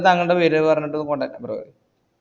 ആദം താന്കളുടെ പേര് പറഞ്ഞിട്ട contact number പറയ്